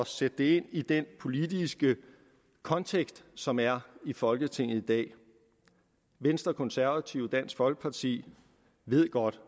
sætte det ind i den politiske kontekst som er i folketinget i dag venstre konservative og dansk folkeparti ved godt